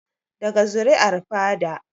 Daga zuri'ar fada